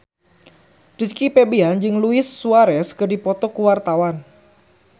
Rizky Febian jeung Luis Suarez keur dipoto ku wartawan